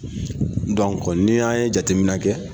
ni y'an ye jateminɛ kɛ